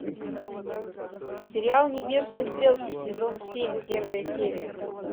сериал небесные стрелки сезон семь первая серия